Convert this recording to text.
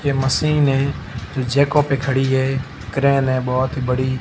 ये मशीन है जो जैको पे खड़ी है क्रेन हैं बहोत ही बड़ी--